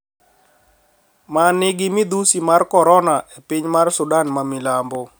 Ma nigi midhusi mar Corona e piny mar Sudan ma milambo